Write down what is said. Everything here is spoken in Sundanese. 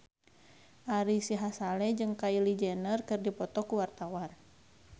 Ari Sihasale jeung Kylie Jenner keur dipoto ku wartawan